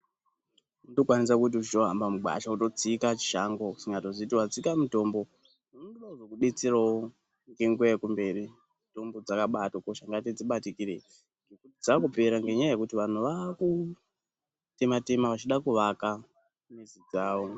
Unotokwanisa kuti uchitohamba mugwasha wotsika chishango usingatoziye kuti watsika mutombo unoda kuzokubetserowo ngenguwa yekumberi mitombo dzabahatokosha Saka ngatidzibatikirei dzakupera ngenyaya yekuti vanhu vakutema tema vachida kuvaka nezi dzawo